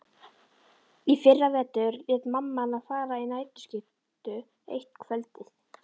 Í fyrravetur lét mamma hana fara í nærskyrtu eitt kvöldið.